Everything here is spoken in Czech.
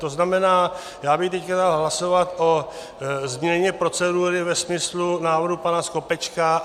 To znamená, já bych teď dal hlasovat o změně procedury ve smyslu návrhu pana Skopečka.